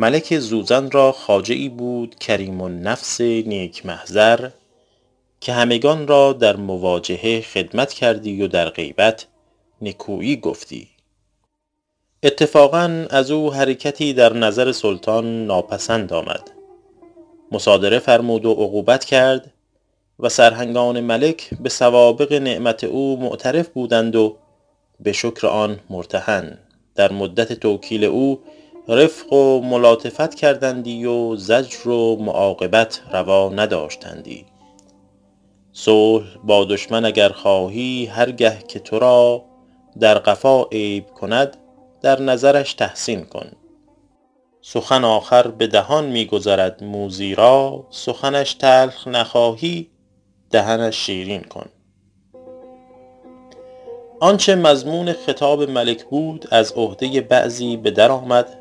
ملک زوزن را خواجه ای بود کریم النفس نیک محضر که همگنان را در مواجهه خدمت کردی و در غیبت نکویی گفتی اتفاقا از او حرکتی در نظر سلطان ناپسند آمد مصادره فرمود و عقوبت کرد و سرهنگان ملک به سوابق نعمت او معترف بودند و به شکر آن مرتهن در مدت توکیل او رفق و ملاطفت کردندی و زجر و معاقبت روا نداشتندی صلح با دشمن اگر خواهی هر گه که تو را در قفا عیب کند در نظرش تحسین کن سخن آخر به دهان می گذرد موذی را سخنش تلخ نخواهی دهنش شیرین کن آنچه مضمون خطاب ملک بود از عهده بعضی به در آمد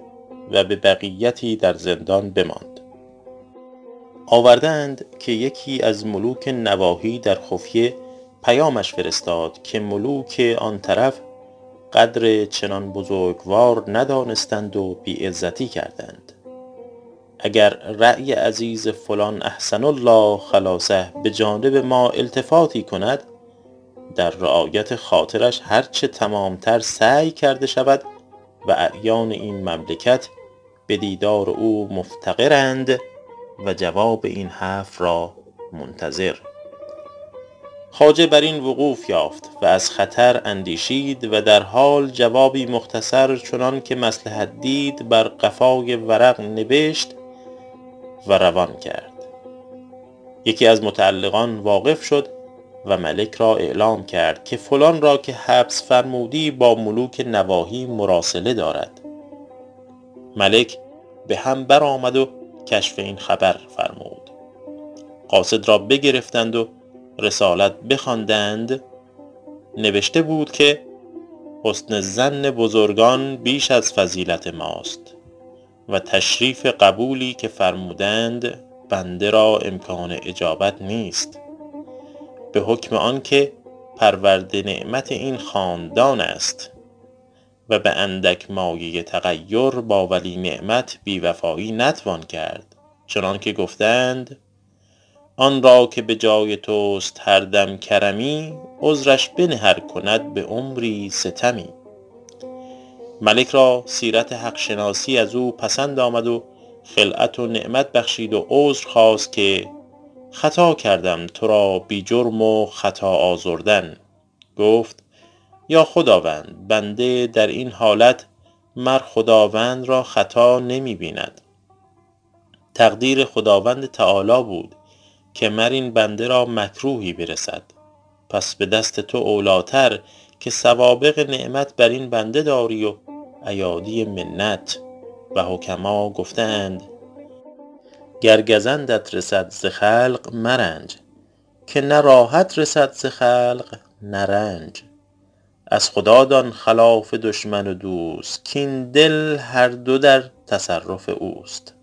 و به بقیتی در زندان بماند آورده اند که یکی از ملوک نواحی در خفیه پیامش فرستاد که ملوک آن طرف قدر چنان بزرگوار ندانستند و بی عزتی کردند اگر رای عزیز فلان احسن الله خلاصه به جانب ما التفاتی کند در رعایت خاطرش هر چه تمام تر سعی کرده شود و اعیان این مملکت به دیدار او مفتقرند و جواب این حرف را منتظر خواجه بر این وقوف یافت و از خطر اندیشید و در حال جوابی مختصر چنان که مصلحت دید بر قفای ورق نبشت و روان کرد یکی از متعلقان واقف شد و ملک را اعلام کرد که فلان را که حبس فرمودی با ملوک نواحی مراسله دارد ملک به هم برآمد و کشف این خبر فرمود قاصد را بگرفتند و رسالت بخواندند نبشته بود که حسن ظن بزرگان بیش از فضیلت ماست و تشریف قبولی که فرمودند بنده را امکان اجابت نیست به حکم آن که پرورده نعمت این خاندان است و به اندک مایه تغیر با ولی نعمت بی وفایی نتوان کرد چنان که گفته اند آن را که به جای توست هر دم کرمی عذرش بنه ار کند به عمری ستمی ملک را سیرت حق شناسی از او پسند آمد و خلعت و نعمت بخشید و عذر خواست که خطا کردم تو را بی جرم و خطا آزردن گفت ای خداوند بنده در این حالت مر خداوند را خطا نمی بیند تقدیر خداوند تعالیٰ بود که مر این بنده را مکروهی برسد پس به دست تو اولی ٰتر که سوابق نعمت بر این بنده داری و ایادی منت و حکما گفته اند گر گزندت رسد ز خلق مرنج که نه راحت رسد ز خلق نه رنج از خدا دان خلاف دشمن و دوست کاین دل هر دو در تصرف اوست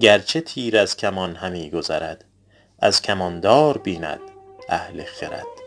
گرچه تیر از کمان همی گذرد از کمان دار بیند اهل خرد